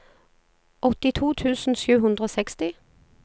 åttito tusen sju hundre og seksti